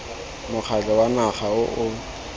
mokgatlho wa naga o o